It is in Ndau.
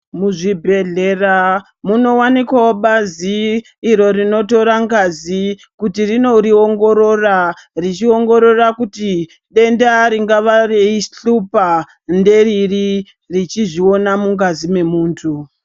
Muzvibhedlera munowanikwawo bazi iro rinotora ngazi kuti rinoriongorora richiongorora kuti denda ringava reihlupa ngeriri richizviona mungazi memuntu.